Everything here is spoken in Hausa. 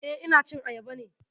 Eh, ina cin ayaba ne